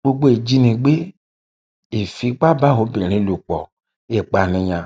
gbogbo ìjínigbé ìfipábáobìnrin ló pọ ìpànìyàn